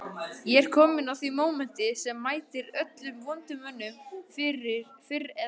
Ég er kominn að því mómenti sem mætir öllum vondum mönnum fyrr eða síðar